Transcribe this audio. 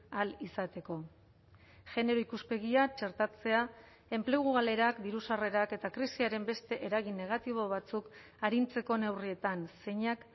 ahal izateko genero ikuspegia txertatzea enplegu galerak diru sarrerak eta krisiaren beste eragin negatibo batzuk arintzeko neurrietan zeinak